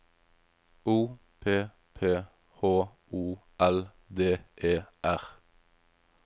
O P P H O L D E R